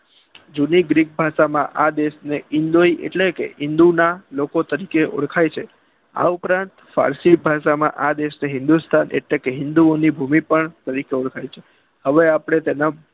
જુદી ગ્રીક ભાષા માં આ દેશના એટલે કે હિંદુ લોકો તરીકે ઔળખાય છે આ ઉપરાંત પારસી ભાષા માં આ દેશ હિંદુસ્તાન હિંદુ ઓની ભૂમિ પણ ઓળખાય છે હવે આપણે તેના